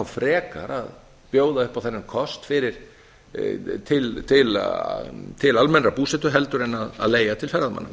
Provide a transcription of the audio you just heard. frekar að bjóða upp á þennan kost til almennrar búsetu en að leigja til ferðamanna